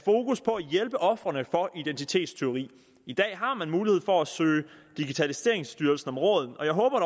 hjælpe ofrene for identitetstyveri i dag har man mulighed for at søge digitaliseringsstyrelsen om råd og jeg håber